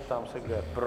Ptám se, kdo je pro?